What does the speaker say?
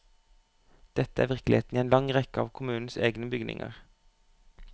Dette er virkeligheten i en lang rekke av kommunens egne bygninger.